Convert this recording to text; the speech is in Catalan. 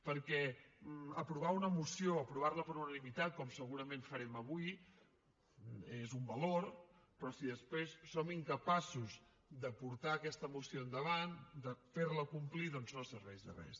perquè aprovar una moció aprovar la per unanimitat com segurament farem avui és un valor però si després som incapaços de portar aquesta moció endavant de fer la complir doncs no serveix de res